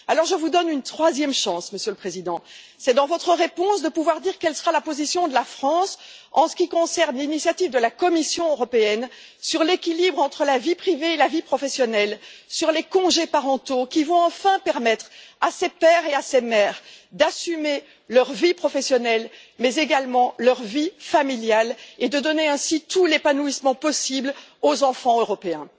Alors, je vous donne une troisième chance, Monsieur le Président, de pouvoir dire, dans votre réponse, quelle sera la position de la France en ce qui concerne l'initiative de la Commission européenne sur l'équilibre entre la vie privée et la vie professionnelle, sur les congés parentaux qui vont enfin permettre à ces pères et à ces mères d'assumer leur vie professionnelle mais également leur vie familiale et de donner ainsi tout l'épanouissement possible aux enfants européens.